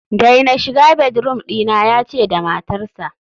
daina shiga bedroom dina, yace da matarsa